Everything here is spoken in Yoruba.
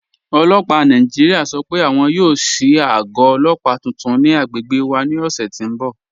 Ọlọ́pà Nàìjíríà sọ́ pé àwọn yóò ṣíì àgọ̀ ọlọ́pà tuntun ni àgbègbè wà ni ọṣẹ̀ ti n bọ̀.